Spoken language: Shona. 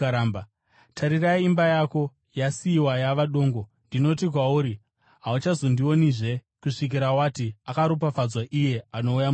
Tarira, imba yako yasiyiwa yava dongo. Ndinoti kwauri, hauchazondionizve kusvikira wati, ‘Akaropafadzwa iye anouya muzita raShe.’ ”